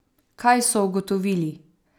Kaj so ugotovili?